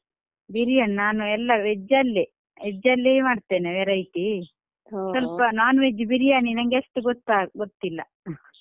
ಬಿರಿಯಾನಿ ನಾನು ಎಲ್ಲಾ veg ಅಲ್ಲೇ. veg ಅಲ್ಲೇ ಮಾಡ್ತೆನೆ, variety ಸ್ವಲ್ಪ non veg ಬಿರಿಯಾನಿ ನಂಗೆ ಆತು ಗೊತ್ತು ಗೊತ್ತಿಲ್ಲ.